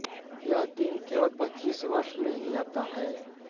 यह दिन केवल पच्चीस वर्ष में ही आता है